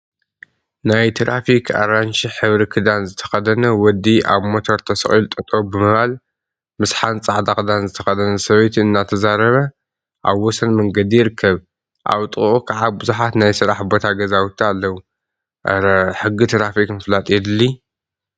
ናይ ትራፊክ አራንሺ ሕብሪ ክዳን ዝተከደነ ወዲ አብ ሞተር ተሰቂሉ ጠጠው ብምባል ምስ ሓንቲ ፃዕዳ ክዳን ዝተከደነት ሰበይቲ እናተዛረበ አብ ወሰን መንገዲ ይርከብ፡፡ አብ ጥቅኡ ከዓ ቡዙሓት ናይ ስራሕ ቦታ ገዛውቲ አለው፡፡ አረ! ሕጊ ትራፊክ ምፍላጥ የድሊ፡፡